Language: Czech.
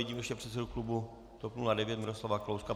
Vidím ještě předsedu klubu TOP 09 Miroslava Kalouska.